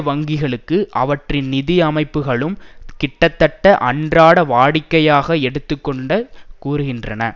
வங்கிகளுக்கு அவற்றின் நிதி அமைப்புக்களும் கிட்டத்தட்ட அன்றாட வாடிக்கையாக எடுத்து கூறுகின்றன